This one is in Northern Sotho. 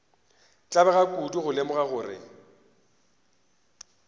tlabega kudu go lemoga gore